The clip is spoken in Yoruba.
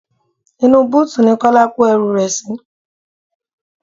Inú búùtì ní Kọ́lá kó ẹrú rẹ sì.